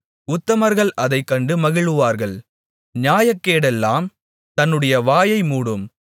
உத்தமர்கள் அதைக்கண்டு மகிழுவார்கள் நியாயக்கேடெல்லாம் தன்னுடைய வாயை மூடும்